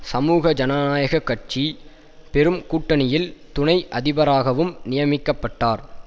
சமூக ஜனநாயக கட்சி பெரும் கூட்டணியில் துணை அதிபராகவும் நியமிக்க பட்டார்